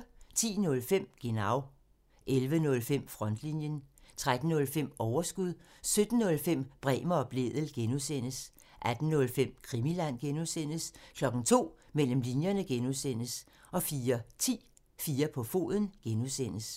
10:05: Genau (tir) 11:05: Frontlinjen (tir) 13:05: Overskud (tir) 17:05: Bremer og Blædel (G) (tir) 18:05: Krimiland (G) (tir) 02:00: Mellem linjerne (G) (tir) 04:10: 4 på foden (G) (tir)